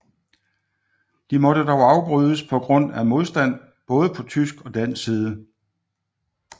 De måtte dog afbrydes på grund af modstand både på tysk og dansk side